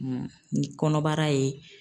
ni kɔnɔbara ye.